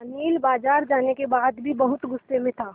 अनिल बाज़ार जाने के बाद भी बहुत गु़स्से में था